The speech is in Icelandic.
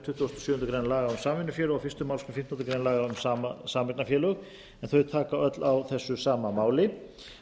tuttugustu og sjöundu grein laga um samvinnufélög og fyrstu málsgrein fimmtándu grein laga um sameignarfélög en þau taka öll á þessu sama máli